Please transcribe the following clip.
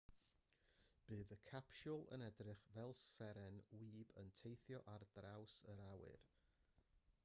bydd y capsiwl yn edrych fel seren wib yn teithio ar draws yr awyr